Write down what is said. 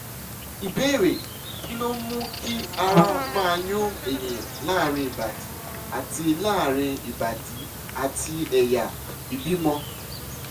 ìbéèrè: kí ló ń mú kí ara máa yún ènìyàn láàárín ìbàdí àti láàárín ìbàdí àti ẹ̀yà ìbímọ?